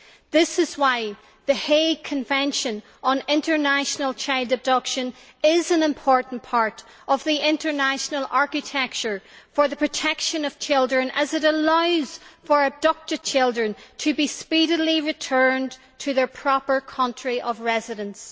This is why the Hague Convention on International Child Abduction is an important part of the international architecture for the protection of children, as it allows for abducted children to be speedily returned to their proper country of residence.